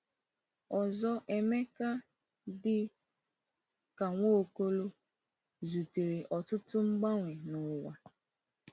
Ọzọ Emeka, dị ka Nwaokolo, zutere ọtụtụ mgbanwe n’ụwa.